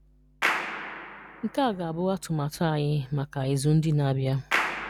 Nke a ga-abụ atụmatụ anyị maka ịzụ ndị na-abịa: